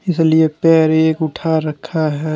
इसलिए पैर एक उठा रखा है।